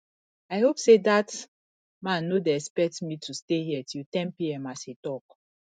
i hope say dat man no dey expect me to stay here till ten pm as he talk